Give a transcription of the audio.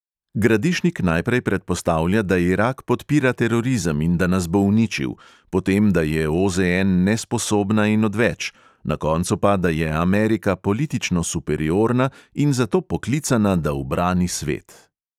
Gradišnik najprej predpostavlja, da irak podpira terorizem in da nas bo uničil; potem, da je OZN nesposobna in odveč; na koncu pa, da je amerika politično superiorna in zato poklicana, da ubrani svet.